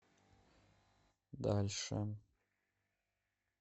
дальше